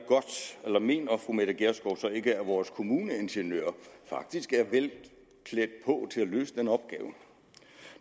fru mette gjerskov ikke at vores kommuneingeniører faktisk er vel klædt på til at løse den opgave